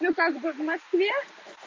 ну как бы в москве